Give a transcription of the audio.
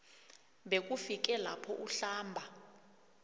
bekufike lapho uhlamba